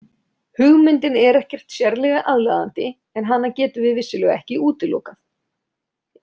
Hugmyndin er ekkert sérlega aðlaðandi en hana getum við vissulega ekki útilokað.